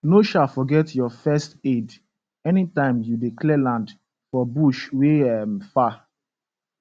no um forget your first aid anytime you dey clear land for bush wey um far